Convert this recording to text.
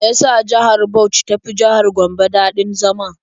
Me ya sa jihar Bauch ta fi jihar Gombe daɗin zama?